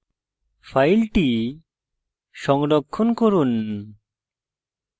file সংরক্ষণ করুন